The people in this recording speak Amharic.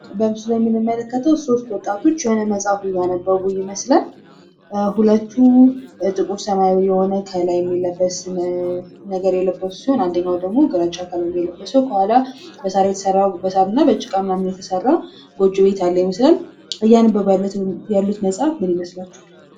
በምስሉ ላይ የምንመለከተው ሶስት ወጣቶች የሆነ መፃፍን እያነበቡ ይመስላል። ሁለቱ ጥቁር ሰማያዊ የሆነ ከላይ የሚለበስ ነገር የለበሱ ሲሆን አንዱ ደግሞ ግራጫ ቀለም የለበሰ ከኋላ ከሳር እና ከጭቃ የተሰራ ጎጆ ቤት ያለ ይመስላል ።እያነበቡት ያለው መፃፍ ምን ይመስላችኋል?